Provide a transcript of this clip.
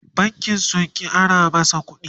bankin sun ƙi su Ara masa ƙuɗi